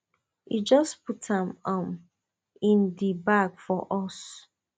e just put am um in di bag for us